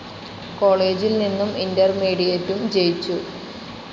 കോളേജിൽ നിന്നും ഇന്റർമീഡിയേറ്റും ജയിച്ചു.